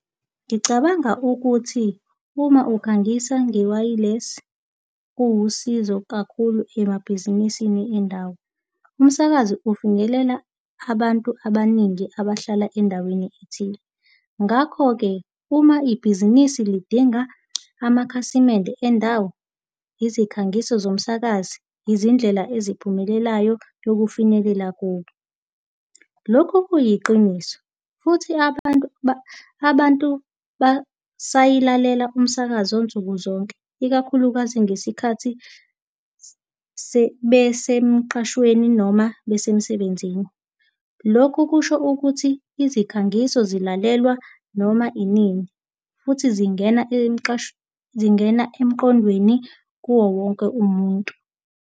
Ngicabanga ukuthi uma ukhangisa nge-wireless kuwusizo kakhulu emabhizinisini endawo. Umsakazo ufinyelela abantu abaningi abahlala endaweni ethile. Ngakho-ke uma ibhizinisi lidinga amakhasimende endawo, izikhangiso zomsakazi, izindlela eziphumelelayo yokufinyelela kubo. Lokhu kuyiqiniso futhi abantu abantu basayilalela umsakazo nsuku zonke, ikakhulukazi ngesikhathi besemqashweni noma besemsebenzini. Lokhu kusho ukuthi izikhangiso zilalelwa noma, iningi futhi zingena zingena emqondweni kuwo wonke umuntu.